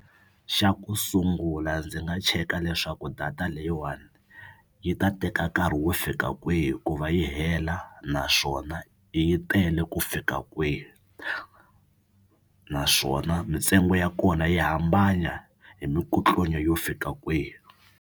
Xa ku sungula ndzi nga cheka leswaku data leyiwani yi ta teka nkarhi wo fika kwihi ku va yi hela naswona yi tele ku fika kwihi naswona mintsengo ya kona yi hambana hi mikutlunya yo fika kwihi.